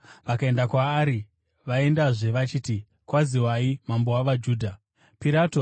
vakaenda kwaari vaendazve vachiti, “Kwaziwai, mambo wavaJudha!” Uye vakamurova kumeso.